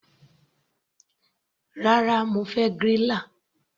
Rárá, mo fẹ́ griller.